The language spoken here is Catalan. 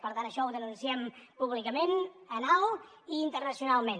per tant això ho denunciem públicament ben alt i internacionalment